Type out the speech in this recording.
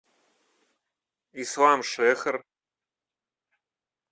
исламшехр